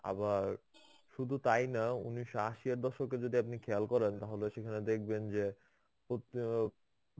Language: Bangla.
আবার শুধু তাই না, উনিশশো আশিয়ার দশকে যদি আপনি খেয়াল করেন তাহলে সেখানে দেখবেন যে প্রতি